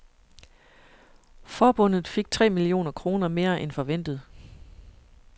Forbundet fik tre millioner kroner mere end forventet.